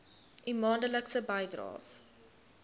u maandelikse bydraes